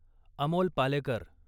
Amol Palekar